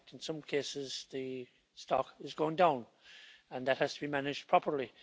In fact in some cases, the stock is going down, and that has to be managed properly.